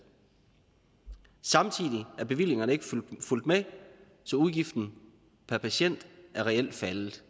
samtidig er bevillingerne ikke fulgt med så udgiften per patient er reelt faldet